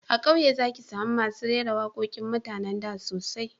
A kauye za ki samu masu raira waƙoƙin mutanen da sosai